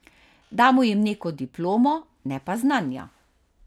Damo jim neko diplomo, ne pa znanja.